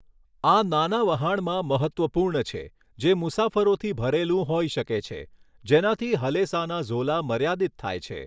આ નાના વહાણમાં મહત્ત્વપૂર્ણ છે જે મુસાફરોથી ભરેલું હોઈ શકે છે, જેનાથી હલેસાના ઝોલા મર્યાદિત થાય છે.